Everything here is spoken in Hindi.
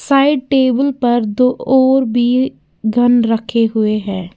शायद टेबुल पर दो और भी गन रखे हुए हैं।